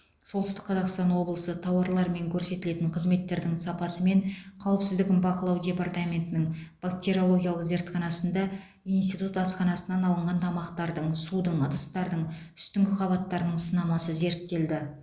солтүстік қазақстан облысы тауарлар мен көрсетілетін қызметтердің сапасы мен қауіпсіздігін бақылау департаментінің бактериологиялық зертханасында институт асханасынан алынған тамақтардың судың ыдыстардың үстіңгі қабаттарының сынамасы зерттелді